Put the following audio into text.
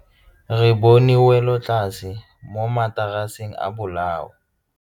Re bone wêlôtlasê mo mataraseng a bolaô.